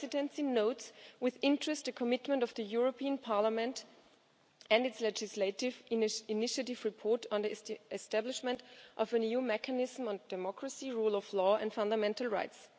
The Presidency notes with interest the commitment of this Parliament and its legislative initiative report on the establishment of an EU mechanism on democracy, rule of law and fundamental rights.